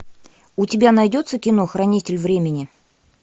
у тебя найдется кино хранитель времени